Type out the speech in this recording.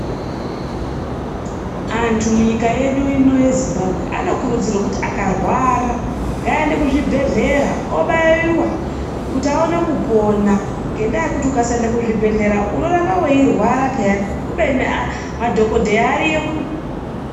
Antu munyika yedu ino yeZimbabwe anokurudzirwa kuti akarwara ngaaende kuzvibhehlera obaiwa kuti aone kupona ngendaa yekuti ukasaende kuzvibhehlera unoramba veirwara peyani kubeni madhokodheya ariyo.